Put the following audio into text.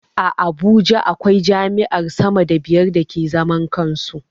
A Abuja akwai jami'ar sama da biyar da ke zaman kansu